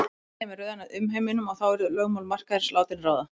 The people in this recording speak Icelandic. Síðar kæmi röðin að umheiminum og þá yrðu lögmál markaðarins látin ráða.